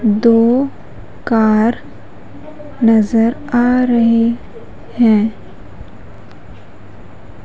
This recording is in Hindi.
दो कार नजर आ रहे हैं ।